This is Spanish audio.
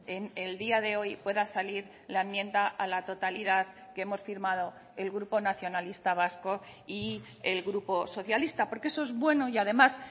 en el día de hoy pueda salir la enmienda a la totalidad que hemos firmado el grupo nacionalista vasco y el grupo socialista porque eso es bueno y además